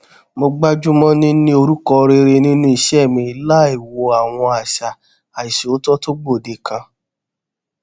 mo gbájú mọ níní orúkọ rere nínú iṣé mi láìwo àwọn àṣà àìṣòótó tó gbòde kan